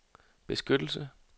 beskyttelse